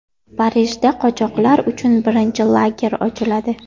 Parijda qochoqlar uchun birinchi lager ochiladi.